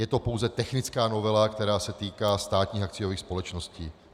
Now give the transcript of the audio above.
Je to pouze technická novela, která se týká státních akciových společností.